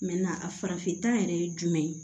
a farafinta yɛrɛ ye jumɛn ye